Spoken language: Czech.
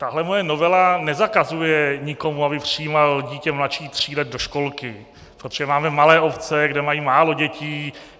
Tahle moje novela nezakazuje nikomu, aby přijímal dítě mladší tří let do školky, protože máme malé obce, kde mají málo dětí.